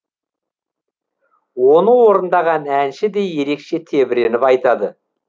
оны орындаған әнші де ерекше тебіреніп айтады